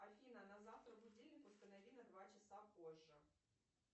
афина на завтра будильник установи на два часа позже